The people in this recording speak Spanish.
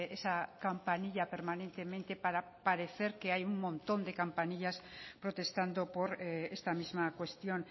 esa campanilla permanentemente para parecer que hay un montón de campanillas protestando por esta misma cuestión